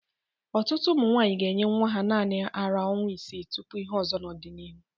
Ọtụtụ ụmụ nwaanyi ga-enye nwa ha naanị ara ọnwa isii tupu ihe ọzọ n'ọdịnihu.